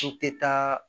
N tɛ taa